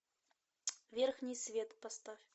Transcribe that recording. верхний свет поставь